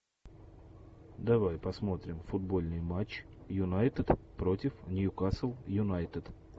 давай посмотрим футбольный матч юнайтед против ньюкасл юнайтед